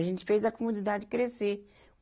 A gente fez a comunidade crescer.